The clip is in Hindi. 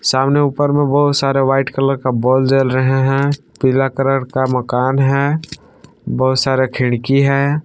सामने ऊपर में बहुत सारे व्हाइट कलर का बोल जल रहे हैं पीला कलर का मकान है बहुत सारे खिड़की हैं।